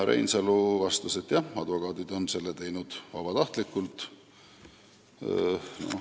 Reinsalu vastas, et advokaadid on teinud seda vabatahtlikult.